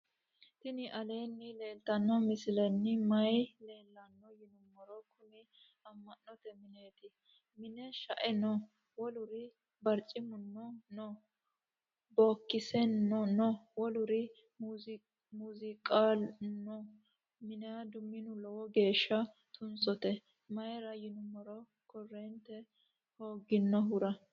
tini aleni leltano misileni maayi leelano yinnumoro. kuuni ama'note mineti. mine shae noo. woluri barcimuno noo. bokiseno noo. woluri masiqaluno noo. minido minu lowo gesha tunsote. mayira yinumoro korente hoginohura.p